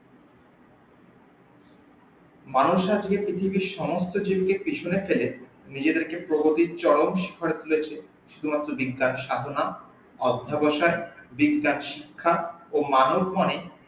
মানুষ আজকে পৃথিবীর সমস্ত কিছুকে পেছনে ফেলে নিজে দেরকে প্রগতির চরম শিখরে তুলেছে শুধুমাত্র বিদ্যার সাধনা অদ্যাবসাক বিদ্যার শিখ্যা ও মানব মনে